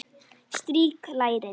Strýk lærin.